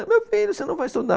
Meu filho, você não vai estudar.